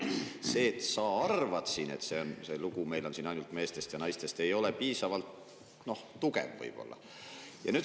See, et sina arvad, et see lugu on meil siin ainult meestest ja naistest, ei ole piisavalt tugev.